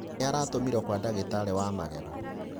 Nĩ aratũmirwo kwa ndagitarĩ wa magego.